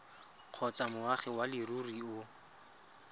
kgotsa moagi wa leruri o